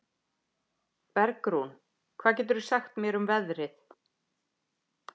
Bergrún, hvað geturðu sagt mér um veðrið?